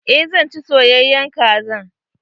Eh zan ci soyayen kaza.